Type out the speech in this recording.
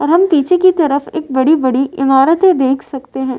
और हम पीछे की तरफ एक बड़ी-बड़ी इमारतें देख सकते हैं।